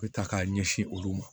U bɛ ta k'a ɲɛsin olu ma